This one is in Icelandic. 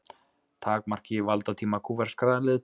Takmarki valdatíma kúbverskra leiðtoga